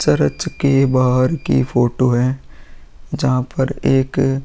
Church के बाहर की फोटो है। जहाँ पर एक --